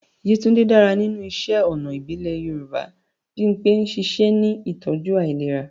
Yetunde dára nínú iṣẹ́ ọnà ìbílẹ̀ Yorùbá. Bimpe ń ṣiṣẹ́ ní ìtọ́jú ìlera.